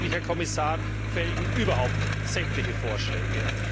Diesbezüglich, Herr Kommissar, fehlen überhaupt sämtliche Vorschläge.